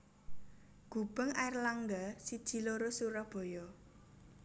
Gubeng Airlangga siji loro Surabaya